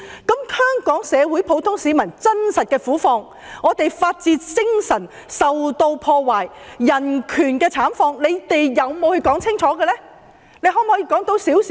至於香港社會上普通市民的真實苦況，以及香港的法治精神和人權受破壞等慘況，他們有否清楚闡述？